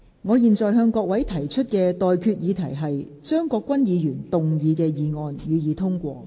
我現在向各位提出的待決議題是：張國鈞議員動議的議案，予以通過。